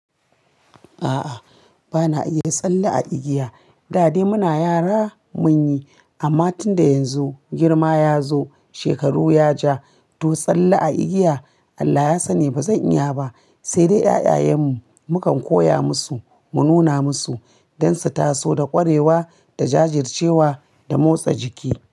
A'a, ba na iya tsalle a igiya. Da dai muna yara mun yi, amma tun da yanzu girma ya zo, shekaru ya ja, to tsalle a igiya Allah ya sani ba zan iya ba. Sai dai ƴaƴayan mu, mukan koya musu, mu nuna musu don su taso da ƙwarewa da jajircewa da motsa jiki.